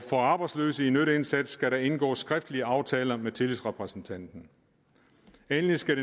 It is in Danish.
for arbejdsløse i nytteindsats skal indgås skriftlige aftaler med tillidsrepræsentanten endelig skal